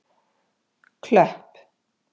Klöpp